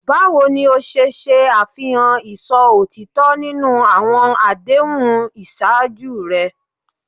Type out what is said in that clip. Báwo ni o ṣe ṣe àfihàn ìṣó ọ̀tọ̀ọ̀tọ̀ nínú àwọn àdéhùn ìṣáájú rẹ?